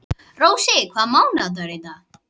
Rósi, hvaða mánaðardagur er í dag?